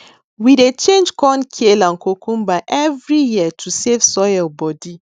we dey change corn kale and cocumber every year to save soil body